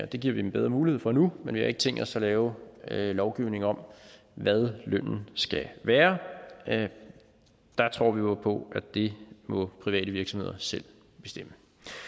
det giver vi dem bedre mulighed for nu men vi har ikke tænkt os at lave lovgivning om hvad lønnen skal være der tror vi jo på at det må private virksomheder selv bestemme